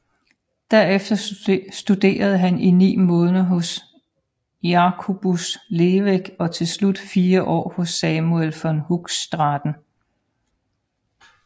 Derefter studerede han i ni måneder hos Jacobus Leveck og til slut fire år hos Samuel van Hoogstraten